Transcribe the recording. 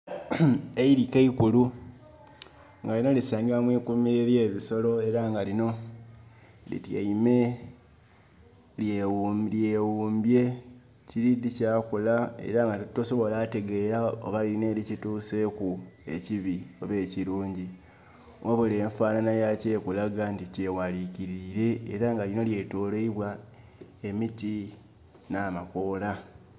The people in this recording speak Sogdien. Eirike eikulu. Nga lino lisangibwa mwi kuumiro ely'ebisolo, era nga lino lityaime, lyewumbye wumbye tiridhi kyakola, era nga tosobola tegeera oba lilina elikituseeku ekibi oba ekirungi. Wabula enfaanana yakyo ekulaga nti kyewalikiriile, era nga lino lyetoloilwa emiti n'amakoola.